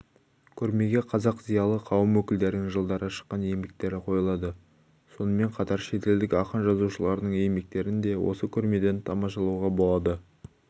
көрмеге қазақ зиялы қауым өкілдерінің жылдары шыққан еңбектері қойылады сонымен қатар шетелдік ақын-жазушылардың еңбектерін де осы көрмеден тамашалауға болады